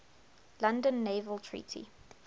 london naval treaty